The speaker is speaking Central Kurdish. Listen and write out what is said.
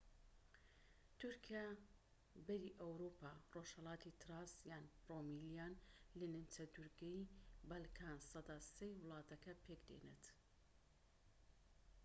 تورکیای بەری ئەوروپا ڕۆژهەلاتی تراس یان رومێلیا لە نیمچەدورگەی بەلکانسەدا ٣ ی ولاتەکە پێك دێنێت